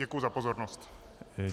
Děkuji za pozornost.